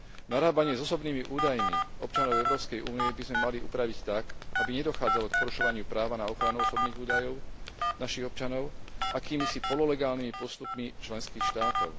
Narábanie s osobnými údajmi občanov Európskej únie by sme mali upraviť tak, aby nedochádzalo k porušovaniu práva na ochranu osobných údajov našich občanov akýmisi pololegálnymi postupmi členských štátov.